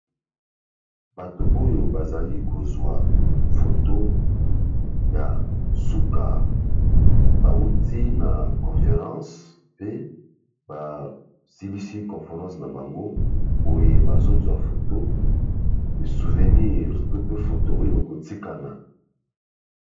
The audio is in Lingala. Bato oyo bazali kozwa foto ya suka bauti na conference pe ba silisi conference na bango boye bazozwa foto souvenir to pe foto oyo ekotikana.